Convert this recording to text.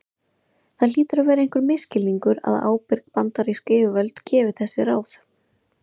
Það hlýtur að vera einhver misskilningur að ábyrg bandarísk yfirvöld gefi þessi ráð.